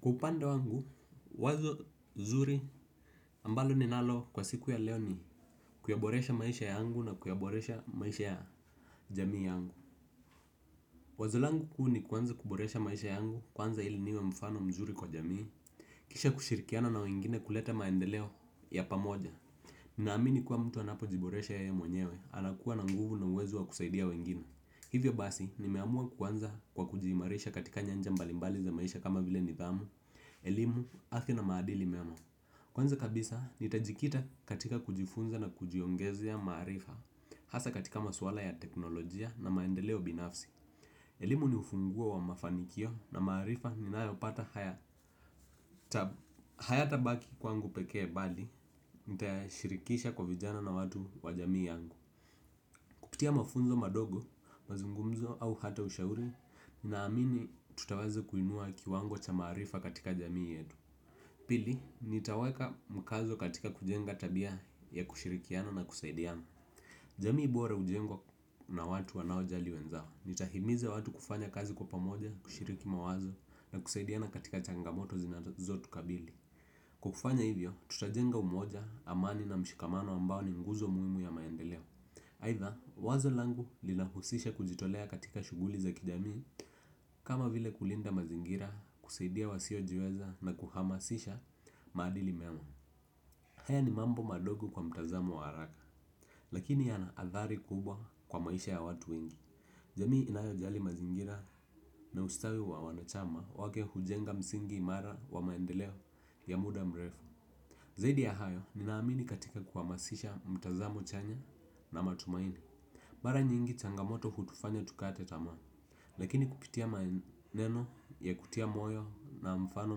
Kwa upande wangu, wazo zuri ambalo ninalo kwa siku ya leo ni kuyaboresha maisha yangu na kuyaboresha maisha ya jamii yangu. Wazolangu kuu ni kuanza kuboresha maisha yangu kuanza ili niwe mfano mzuri kwa jamii. Kisha kushirikiano na wengine kuleta maendeleo ya pamoja. Naamini kuwa mtu anapo jiboresha yeye mwenyewe, anakuwa na nguvu na uwezo wa kusaidia wengine. Hivyo basi, ni meamua kuanza kwa kujiimarisha katika nyanja mbalimbali za maisha kama vile nithamu, elimu, afya na maadili mema. Kwanza kabisa, ni tajikita katika kujifunza na kujiongezea maarifa, hasa katika maswala ya teknolojia na maendeleo binafsi. Elimu ni ufunguo wa mafanikio na maarifa ni nayopata haya tabaki kwangu pekee bali, nitayashirikisha kwa vijana na watu wajamii yangu. Kupitia mafunzo madogo, mazungumzo au hata ushauri, ninaamini tutawazo kuinua kiwango cha maarifa katika jamii yetu. Pili, nitaweka mkazo katika kujenga tabia ya kushirikiana na kusaidiana. Jamii bora ujengwa na watu wanao jali wenzao. Nitahimize watu kufanya kazi kwa pamoja, kushiriki mawazo na kusaidiana katika changamoto zinazotu kabili kwa kufanya hivyo tutajenga umoja amani na mshikamano ambao ni ngunzo muhimu ya maendeleo. Haitha, wazo langu linahusisha kujitolea katika shuguli za kijamii. Kama vile kulinda mazingira kusaidia wasio jiweza na kuhamasisha madili mema. Haya ni mambo madogo kwa mtazamo wa haraka. Lakini ya na athari kubwa kwa maisha ya watu wengi jamii inayojali mazingira na ustawi wa wanachama wake hujenga msingi imara wa maendeleo ya mda mrefu zaidi ya hayo ninaamini katika kuhamasisha mtazamo chanya na matumaini. Mara nyingi changamoto hutufanya tukate tamaa. Lakini kupitia maneno ya kutia moyo na mfano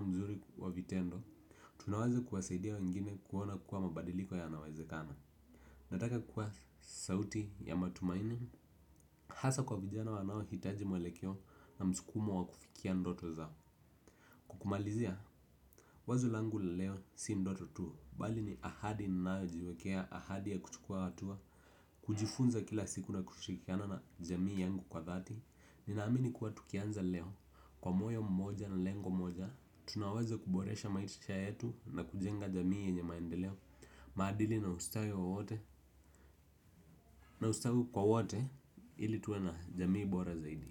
mzuri wa vitendo tunawaze kuwasaidia wengine kuona kuwa mabadiliko ya nawazekana. Nataka kuwa sauti ya matumaini. Hasa kwa vijana wanao hitaji mwelekio na mskumo wa kufikia ndoto zao. Kwa kumalizia wazo langu laleo si ndoto tu bali ni ahadi ninayo jiwekea ahadi ya kuchukua hatua. Kujifunza kila siku na kushikiana na jamii yangu kwa thati. Ninaamini kuwa tukianza leo kwa moyo mmoja na lengo mmoja tunaweza kuboresha maisha yetu na kujenga jamii yenye maendeleo maadili na ustawi kwa wote ili tuwe na jamii bora zaidi.